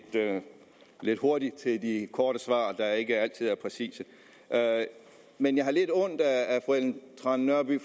lidt hurtig til de korte svar der ikke altid er præcise men jeg har lidt ondt af fru ellen trane nørby